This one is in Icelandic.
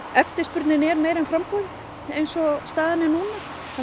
eftirspurnin er meiri en framboðið eins og staðan er núna